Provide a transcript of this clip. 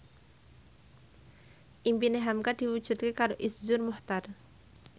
impine hamka diwujudke karo Iszur Muchtar